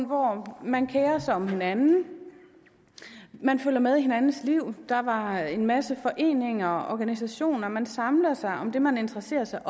hvor man kerede sig om hinanden fulgte med i hinandens liv der var en masse foreninger og organisationer man samlede sig om det man interesserede sig